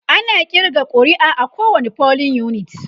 ana ƙirga ƙuri'a a kowani polling unit